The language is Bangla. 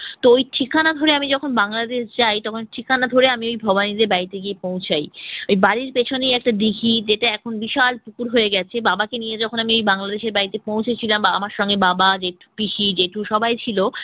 তো ওই ঠিকানা ধরে আমি যখন বাংলাদেশ যাই তখন ঠিকানা ধরে আমি ওই ভবানীদের বাড়িতে গিয়ে পৌঁছাই। এই বাড়ির পিছনে একটা দীঘি যেটা এখন বিশাল পুকুর হয়ে গেছে। বাবাকে নিয়ে যখন আমি এই বাংলাদেশের বাড়িতে পৌঁছেছিলাম বা আমার সঙ্গে বাবা, জেঠু পিসি, জেঠু সবাই ছিল।